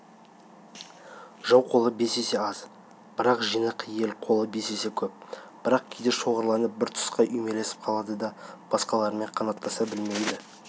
жау қолы бес есе аз бірақ жинақы ел қолы бес есе кеп бірақ кейде шоғырланып бір тұсқа үймелесіп қалады да басқаларымен қанаттаса білмейді